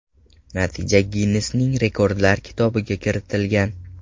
Natija Ginnesning rekordlar kitobiga kiritilgan.